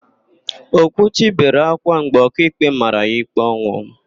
Okwuchi bere ákwá mgbe ọkaikpe mara ya ikpe ọnwụ.